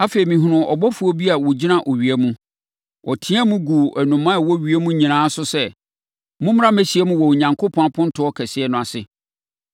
Afei, mehunuu ɔbɔfoɔ bi a ɔgyina owia mu. Ɔteaam guu nnomaa a wɔnam ewiem nyinaa so sɛ, “Mommra mmɛhyiam wɔ Onyankopɔn apontoɔ kɛseɛ no ase.